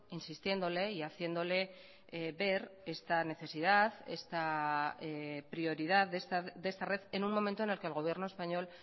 insistiéndole y haciéndole ver esta necesidad esta prioridad de esta red en un momento en el que el gobierno español